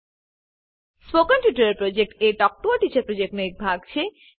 spoken tutorial project talk to a teacher પ્રોજેક્ટનો એક ભાગ છે